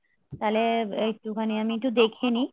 তাহলে একটু খানি আমি একটু দেখে নেই